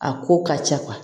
A ko ka ca